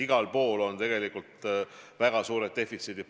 Igal pool paistavad tegelikult väga suured defitsiidid.